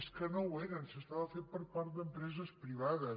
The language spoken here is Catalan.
és que no ho eren s’estava fent per part d’empreses privades